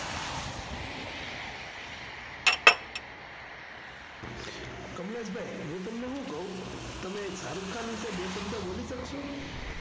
કમલેશ ભાઈ હું તમને શું કવ, તમે શાહરુખ ખાન વિષે બે શબ્દ બોલી શકશો?